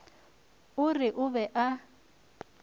o re o be a